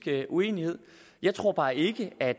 uenighed jeg tror bare ikke at